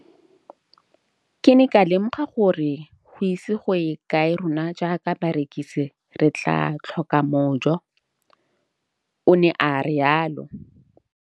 Ke ne ka lemoga gore go ise go ye kae rona jaaka barekise re tla tlhoka mojo, o ne a re jalo.